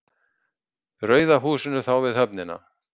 Rauða húsinu þá við höfnina.